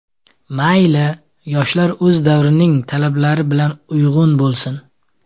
Mayli, yoshlar o‘z davrining talablari bilan uyg‘un bo‘lsin.